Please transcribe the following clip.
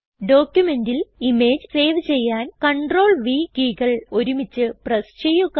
ഡോക്യുമെന്റിൽ image save ചെയ്യാൻ CTRL V കീകൾ ഒരുമിച്ച് പ്രസ് ചെയ്യുക